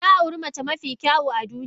Na auri mace mafi kyau a duniya.